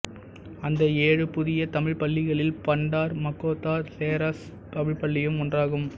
அந்த ஏழு புதிய தமிழ்ப் பள்ளிகளில் பண்டார் மக்கோத்தா செராஸ் தமிழ்ப்பள்ளியும் ஒன்றாகும்